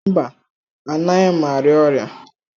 Mba, anaghị m arịa ọrịa.